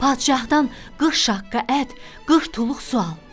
Padişahdan qırx şaqqa ət, qırx tuluq su al.